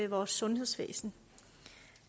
vores sundhedsvæsen